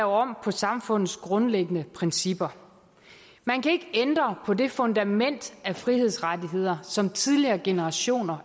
om på samfundets grundlæggende principper man kan ikke ændre på det fundament af frihedsrettigheder som tidligere generationer